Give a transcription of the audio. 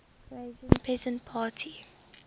croatian peasant party